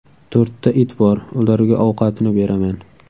To‘rtta it bor, ularga ovqatini beraman.